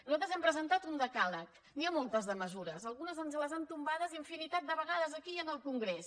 nosaltres hem presentat un decàleg n’hi ha moltes de mesures algunes ens les han tombades infinitat de vegades aquí i en el congrés